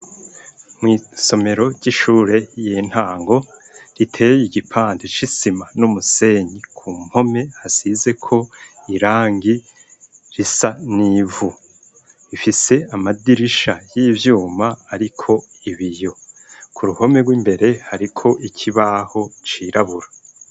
Mw'isomero ry'ishure y'intango riteyeye igipande c'isima n'umusenyi ku mpome hasize ko irangi risa n'ivu ifise amadirisha y'ivyuma ariko ibiyo, ku ruhome rw'imbere ariko ikibaho cirabura.